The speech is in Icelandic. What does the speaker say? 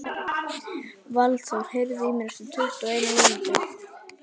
Valþór, heyrðu í mér eftir tuttugu og eina mínútur.